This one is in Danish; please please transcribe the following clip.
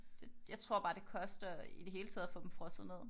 Det jeg tror bare det koster i det hele taget at få dem frosset ned